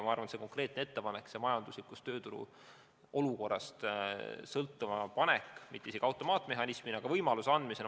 Ma arvan, et see konkreetne ettepanek, toetuste-hüvitiste sõltuma panek majanduslikust ja tööturu olukorrast on mõte õiges suunas.